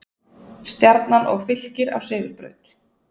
Stjarnan og Fylkir á sigurbraut